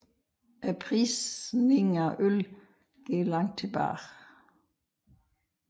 Prisningen af øl går langt tilbage